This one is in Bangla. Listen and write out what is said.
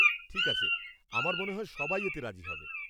ঠিক আছে, আমার মনে হয় সবাই এতে রাজি হবে।